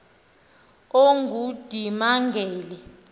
ongundimangele